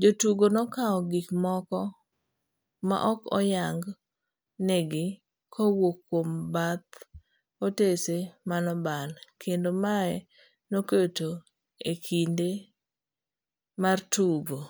Jotugo nokawo gik moko maok oyang negi kowuok kuom bath otese manoban kendo mae noketo ekinde mar tugo